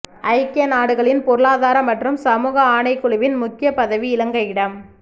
ஐக்கிய நாடுகளின் பொருளாதார மற்றும் சமூக ஆணைக்குழுவின் முக்கிய பதவி இலங்கையிடம்